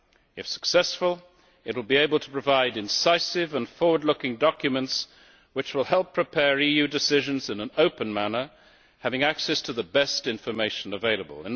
If successful, it will be able to provide incisive and forward looking documents, which will help prepare EU decisions in an open manner, having access to the best information available.